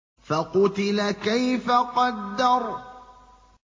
فَقُتِلَ كَيْفَ قَدَّرَ